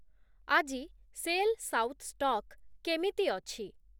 ଆଜି Shell south stock କେମିତି ଅଛି?